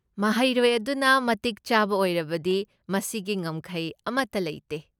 ꯃꯍꯩꯔꯣꯏ ꯑꯗꯨꯅ ꯃꯇꯤꯛ ꯆꯥꯕ ꯑꯣꯏꯔꯕꯗꯤ ꯃꯁꯤꯒꯤ ꯉꯝꯈꯩ ꯑꯃꯠꯇ ꯂꯩꯇꯦ꯫